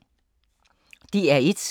DR1